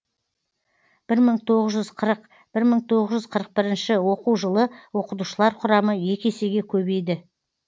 бір мың тоғыз жүз қырық бір мыңтоғыз жүз қырық бірінші оқу жылы оқытушылар құрамы екі есеге көбейді